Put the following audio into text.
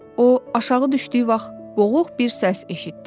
O aşağı düşdüyü vaxt boğuq bir səs eşitdi.